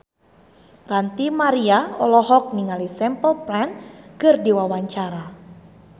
Ranty Maria olohok ningali Simple Plan keur diwawancara